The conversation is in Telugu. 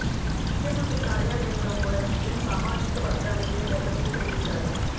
ముఖ్యమంత్రి కార్యాలయంలో కూడా సీఎం సామాజిక వర్గానికే పెద్ద పీట వేశారు